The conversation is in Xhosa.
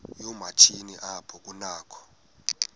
yoomatshini apho kunakho